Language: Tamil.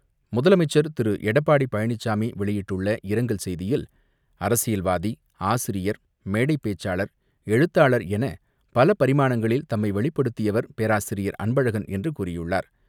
முதலமைச்சர் திரு எடப்பாடி பழனிசாமி வெளியிட்டுள்ள இரங்கல் செய்தியில், அரசியல்வாதி, ஆசிரியர், மேடைபேச்சாளர், எழுத்தாளர் என பல பரிமாணங்களில் தம்மை வெளிப்படுத்தியவர் பேராசிரியர் அன்பழகன் என்று கூறியுள்ளார்.